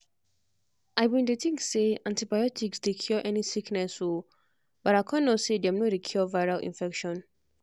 i bin dey think say antibiotics dey cure any sickness o but i con know say dem no dey cure viral infection.